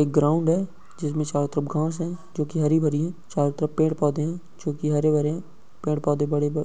एक ग्राउंड है जिसमें चारों तरफ घास है जो कि हरी भरी है। चारों तरफ पेड़ पौधे है जो कि हरे भरे है। पेड़ पोधे बडे-ब